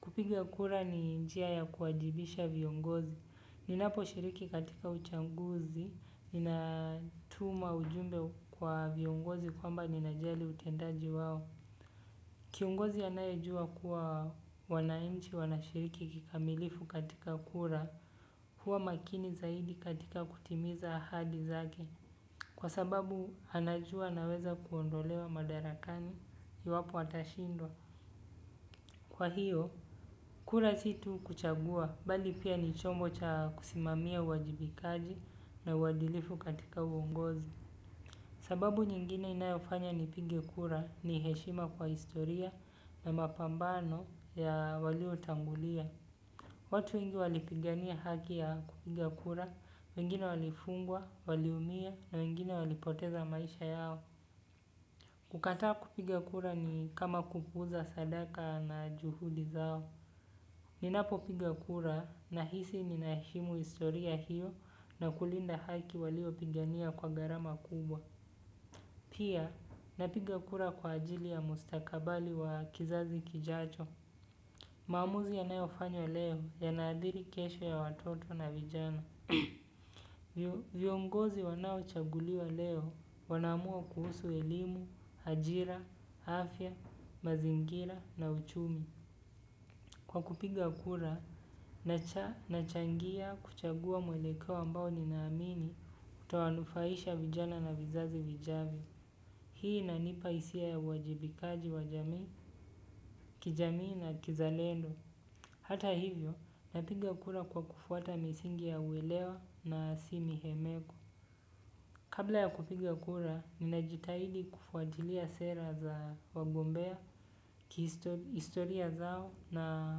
kupiga kura ni njia ya kuajibisha viongozi. Ninapo shiriki katika uchaguzi, ninatuma ujumbe kwa viongozi kwamba ninajali utendaji wao. Kiongozi anayejua kuwa wanainchi wanashiriki kikamilifu katika kura huwa makini zaidi katika kutimiza ahadi zake. Kwa sababu anajua anaweza kuondolewa madarakani iwapo atashindwa. Kwa hiyo, kura si tu kuchagua, bali pia ni chombo cha kusimamia uwajibikaji na uwadilifu katika uongozi. Sababu nyingine inayofanya nipige kura ni heshima kwa historia na mapambano ya waliotangulia. Watu wengi walipigania haki ya kupiga kura, wengine walifungwa, waliumia na wengine walipoteza maisha yao. Kukataa kupiga kura ni kama kupuuza sadaka na juhudi zao. Ninapopiga kura nahisi ninaheshimu historia hiyo na kulinda haki walio pigania kwa gharama kubwa. Pia, napiga kura kwa ajili ya mustakabali wa kizazi kijacho. Maamuzi yanayofanywa leo yanaadhiri kesho ya watoto na vijana. Vyongozi wanao chaguliwa leo wanaamua kuhusu elimu, ajira, afya, mazingira na uchumi. Kwa kupiga kura, nachangia kuchagua mwelekeo ambao ninaamini kutowanufaisha vijana na vizazi vijavyo. Hii inanipa hisia ya uwajibikaji wa jamii, kijamii na kizalendo. Hata hivyo, napiga kura kwa kufuata misingi ya uelewa na si mihemeko. Kabla ya kupiga kura, ninajitahidi kufuatilia sera za wagombea, historia zao na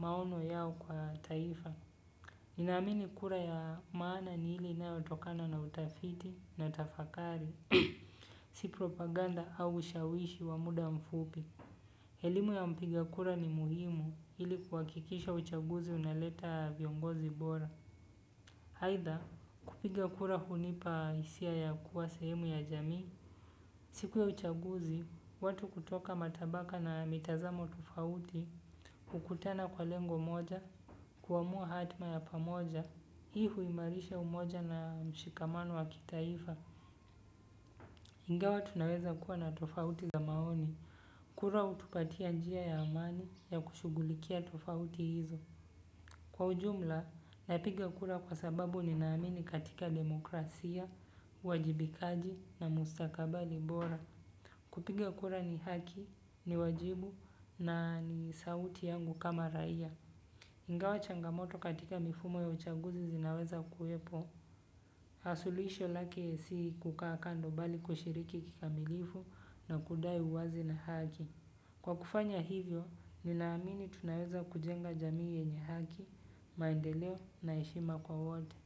maono yao kwa taifa. Ninaamini kura ya maana ni ile inayotokana na utafiti na tafakari si propaganda au ushawishi wa muda mfupi elimu ya mpiga kura ni muhimu ili kuhakikisha uchaguzi unaleta viongozi bora. Aitha kupiga kura hunipa hisia ya kuwa sehemu ya jamii. Siku ya uchaguzi, watu kutoka matabaka na mitazamo tofauti, hukutana kwa lengo moja, kuamua hatma ya pamoja, hii huimarisha umoja na mshikamano wa kitaifa, ingawa tunaweza kuwa na tofauti za maoni. Kura hutupatia njia ya amani ya kushugulikia tofauti hizo. Kwa ujumla, napiga kura kwa sababu ni naamini katika demokrasia, uwajibikaji na mustakabali bora. Kupiga kura ni haki, ni wajibu na ni sauti yangu kama raia. Ingawa changamoto katika mifumo ya uchaguzi zinaweza kuepo suluhisho lake si kukaa kando bali kushiriki kikamilifu na kudai uwazi na haki. Kwa kufanya hivyo, ninaamini tunaweza kujenga jamii yenye haki, maendeleo na heshima kwa wote.